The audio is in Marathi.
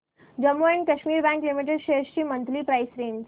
Jammu and Kashmir bank limited shares ची मंथली प्राइस रेंज